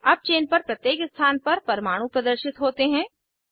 अब चेन पर प्रत्येक स्थान पर परमाणू प्रदर्शित होते हैं